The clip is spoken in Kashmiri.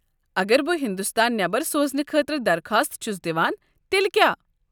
اگر بہٕ ہندوستان نٮ۪بر سوزنہٕ خٲطرٕ درخواست چھُس دِوان تیلہِ کیٛاہ ؟